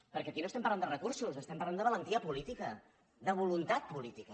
perquè aquí no estem parlant de recursos estem parlant de valentia política de voluntat política